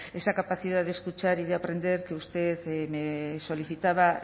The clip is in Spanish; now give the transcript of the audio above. esa capacidad de escuchar y de aprender que usted me solicitaba